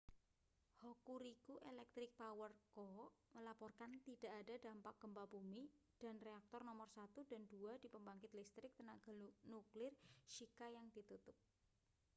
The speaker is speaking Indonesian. hokuriku electric power co melaporkan tidak ada dampak gempa bumi dan reaktor nomor 1 dan 2 di pembangkit listrik tenaga nuklir shika yang ditutup